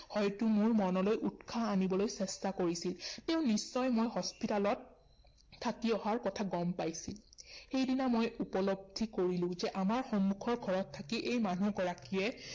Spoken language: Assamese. হয়তো মোৰ মনলৈ উৎসাহ আনিবলৈ চেষ্টা কৰিছিল। তেওঁ নিশ্চয় মই hospital ত থাকি অহাৰ কথা গম পাইছিল। সেইদিনা মই উপলব্ধি কৰিলো যে আমাৰ সন্মুখৰ ঘৰত থাকি এই মানুহগৰাকীয়ে